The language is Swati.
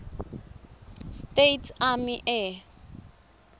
states army air